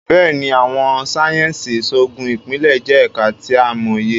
Béèni, Awọn sáyẹnsì Iṣoogun Ipilẹ jẹ ẹka ti a mọye